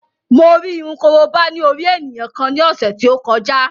Mo rí irun korobá ní orí ènìyàn kan ní ọ̀sẹ̀ tí ó kọjá